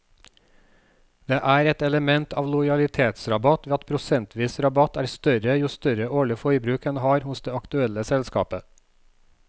Det er et element av lojalitetsrabatt ved at prosentvis rabatt er større jo større årlig forbruk en har hos det aktuelle selskapet.